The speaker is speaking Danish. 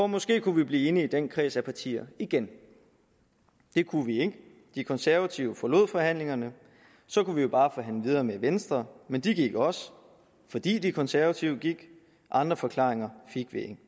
måske kunne vi blive enige i den kreds af partier igen det kunne vi ikke de konservative forlod forhandlingerne så kunne vi jo bare forhandle videre med venstre men de gik også fordi de konservative gik andre forklaringer fik vi